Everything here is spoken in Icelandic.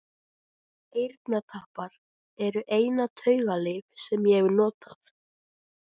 Eyrnatappar eru eina taugalyf sem ég hef notað.